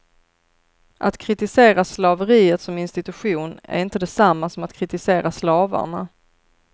Att kritisera slaveriet som institution är inte detsamma som att kritisera slavarna.